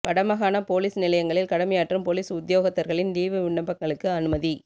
வடமாகாணப் police நிலையங்களில் கடமையாற்றும் police உத்தியோகத்தர்களின் லீவு விண்ணப்பங்களுக்கு அனுமதி